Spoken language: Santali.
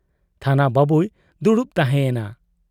ᱛᱷᱟᱱᱟ ᱵᱟᱹᱵᱩᱭ ᱫᱩᱲᱩᱵ ᱛᱟᱦᱮᱸ ᱮᱱᱟ ᱾